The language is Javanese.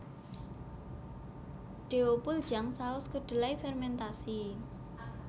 Deopuljang saus kedelai fermentasi